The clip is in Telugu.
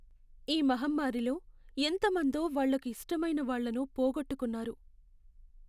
ఈ మహమ్మారిలో ఎంత మందో వాళ్లకు ఇష్టమైన వాళ్ళను పోగొట్టుకున్నారు.